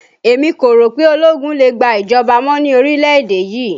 Èmi kò rò pé ologun lè gbà ìjọba mọ́ ní orílẹ̀ èdè yìí